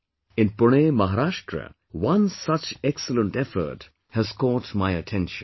In Pune, Maharashtra, one such excellent effort has caught my attention